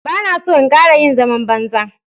Ba na so in ƙara yin zaman banza.